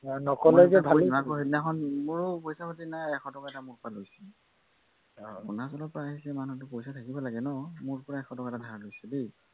সেইদিনাখন মোৰো পইচা পাতি নাই এশটকা এটা মোৰ পৰা লৈছে অৰুণাচলৰ পৰা আহিছে পইচা থাকিব লাগে ন মোৰ পৰা এশটকা ধাৰলে লৈছে